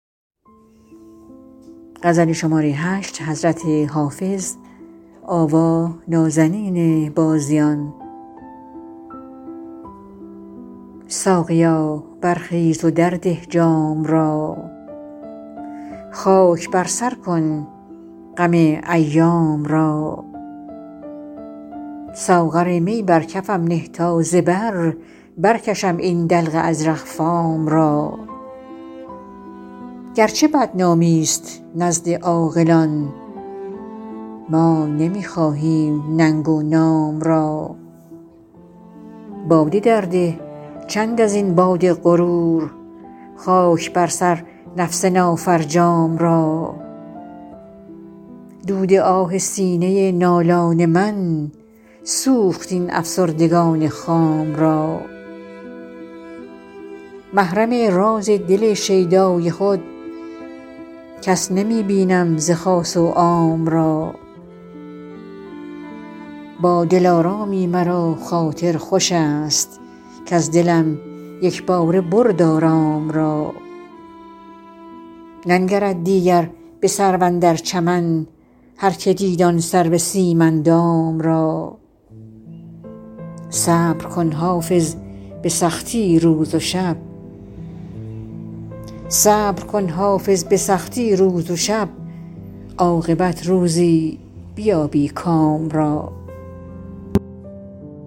ساقیا برخیز و درده جام را خاک بر سر کن غم ایام را ساغر می بر کفم نه تا ز بر برکشم این دلق ازرق فام را گرچه بدنامی ست نزد عاقلان ما نمی خواهیم ننگ و نام را باده درده چند از این باد غرور خاک بر سر نفس نافرجام را دود آه سینه نالان من سوخت این افسردگان خام را محرم راز دل شیدای خود کس نمی بینم ز خاص و عام را با دلارامی مرا خاطر خوش است کز دلم یک باره برد آرام را ننگرد دیگر به سرو اندر چمن هرکه دید آن سرو سیم اندام را صبر کن حافظ به سختی روز و شب عاقبت روزی بیابی کام را